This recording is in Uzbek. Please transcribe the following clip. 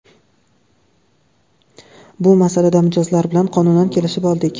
Bu masalada mijozlar bilan qonunan kelishib oldik.